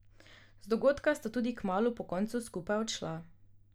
Z dogodka sta tudi kmalu po koncu skupaj odšla.